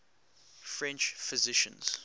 french physicians